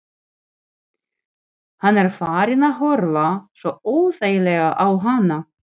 Hann er farinn að horfa svo óþægilega á hana.